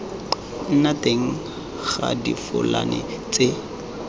nna teng ga difofane tse